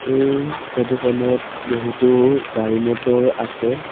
এই ফটো খনত বহুতো গাড়ী মটৰ আছে।